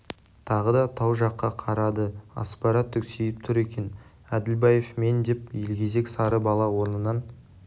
тағы да тау жаққа қарады аспара түксиіп тұр екен әділбаев мен деп елгезек сары бала орнынан